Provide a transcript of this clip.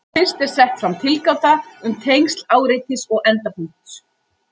Fyrst er sett fram tilgáta um tengsl áreitis og endapunkts.